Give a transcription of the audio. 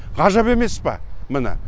ғажап емес па міне